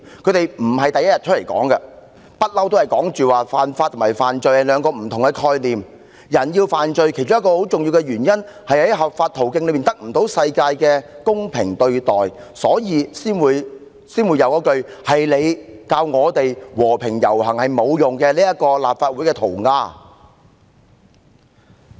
他們並非首次作出闡釋，他們一直表示，犯法和犯罪是兩個不同概念，人之所以要犯法，其中一個很重要的原因在於無法透過合法途徑獲得世界的公平對待，所以才會出現"是你教我們和平遊行是沒用的"的立法會塗鴉。